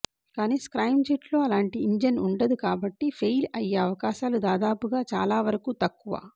కాని స్క్రామ్జెట్లో అలాంటి ఇంజన్ ఉండదు కాబట్టి ఫెయిల్ అయ్యే అవకాశాలు దాదాపుగా చాలా వరకు తక్కువ